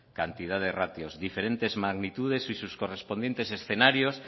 cantidad de ratios diferentes magnitudes y sus correspondientes escenarios